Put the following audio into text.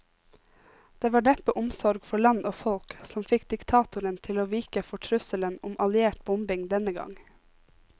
Det var neppe omsorg for land og folk som fikk diktatoren til å vike for trusselen om alliert bombing denne gang.